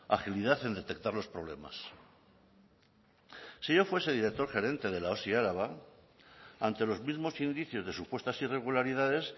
agilidad en detectar los problemas si yo fuese director gerente de la osi araba ante los mismos indicios de supuestas irregularidades